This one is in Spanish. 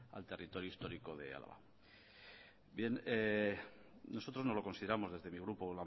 al territorio histórico de álava bien nosotros no lo consideramos desde mi grupo